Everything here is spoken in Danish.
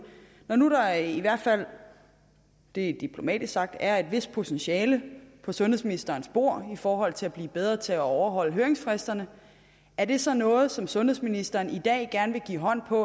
når nu der i hvert fald det er diplomatisk sagt er et vist potentiale på sundhedsministerens bord i forhold til at blive bedre til at overholde høringsfristerne er det så noget som sundhedsministeren i dag gerne vil give håndslag